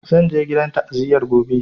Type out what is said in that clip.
Zan je gidan ta'aziyar gobe